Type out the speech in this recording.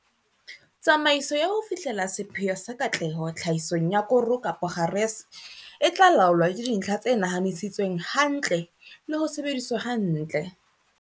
Tsamaiso ya ho fihlella sepheo sa katleho tlhahisong ya koro kapa kgarese e tla laolwa ke dintlha tse nahanisitsweng hantle le ho sebediswa hantle.